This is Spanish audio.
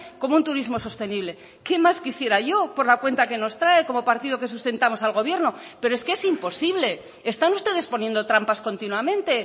como un turismo sostenible qué más quisiera yo por la cuenta que nos trae como partido que sustentamos al gobierno pero es que es imposible están ustedes poniendo trampas continuamente